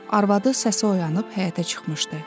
Arvadı səsi oyanıb həyətə çıxmışdı.